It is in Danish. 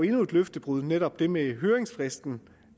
endnu et løftebrud nemlig det med høringsfristen